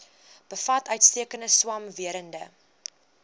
bevat uitstekende swamwerende